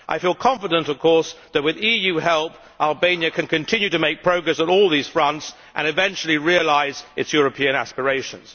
I feel confident of course that, with EU help, Albania can continue to make progress on all these fronts and eventually realise its European aspirations.